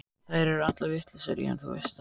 Þær eru allar vitlausar í hann, þú veist það.